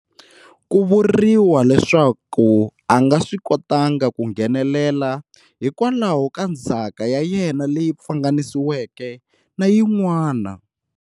Ku vuriwa leswaku a nga swi kotanga ku nghenelela hikwalaho ka ndzhaka ya yena leyi pfanganisiweke na yin'wana.